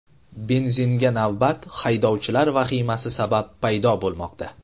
Benzinga navbat haydovchilar vahimasi sabab paydo bo‘lmoqda.